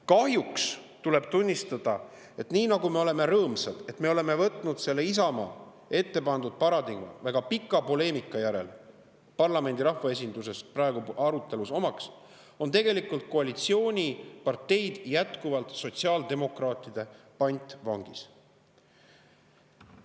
Kahjuks tuleb tunnistada, et kuigi me oleme rõõmsad, et see Isamaa ette pandud paradigma on võetud praegu väga pika poleemika järel parlamendi, rahvaesinduse arutelus omaks, on tegelikult koalitsiooniparteid jätkuvalt sotsiaaldemokraatide käes pantvangis.